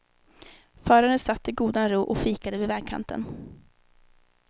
Föraren satt i godan ro och fikade vid vägkanten.